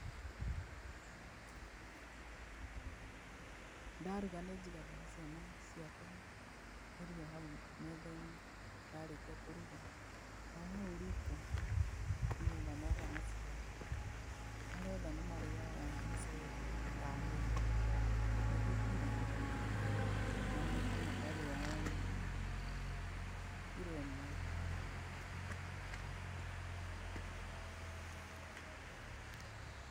Ndaruga nĩnjigagĩra ciana ciakwa irio hau methainĩ, ndarĩkia kũruga o hau riko nĩgetha moka macione, marĩ othe nĩmarĩaga mũcere ta nuthu nuthu kilo na mũtu makarĩa o nuthu kilo ĩmwe.